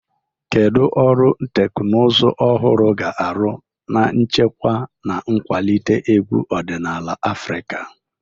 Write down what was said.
Kedu ọrụ teknụzụ ọhụrụ ga-arụ n'ichekwa na ịkwalite egwu ọdịnala Afrika?